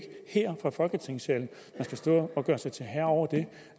her fra folketingssalen man skal stå og gøre sig til herre over det